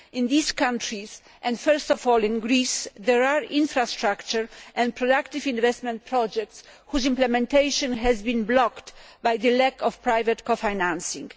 In these countries and primarily in Greece there are infrastructure and productive investment projects whose implementation has been blocked by the lack of private co financing.